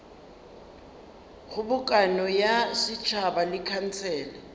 kgobokano ya setšhaba le khansele